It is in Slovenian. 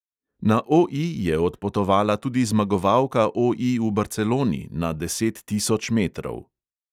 Na OI je odpotovala tudi zmagovalka OI v barceloni na deset tisoč metrov.